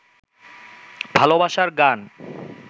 ভালবাসার গান